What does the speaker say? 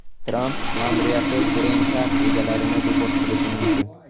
Tramp ma’muriyati Green Card egalarini deport qilishi mumkin.